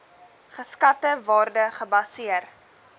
geskatte waarde gebaseer